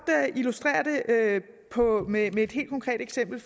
illustrere det med et helt konkret eksempel